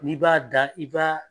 N'i b'a da i b'a